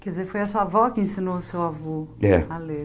Quer dizer, foi a sua avó que ensinou o seu avô É A ler.